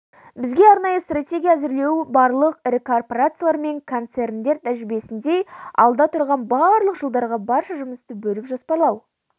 бізге арнайы стратегия әзірлеу барлық ірі корпорациялар мен концерндер тәжірибесіндей алда тұрған барлық жылдарға барша жұмысты бөліп жоспарлау